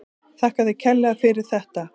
Þakka þér kærlega fyrir þetta.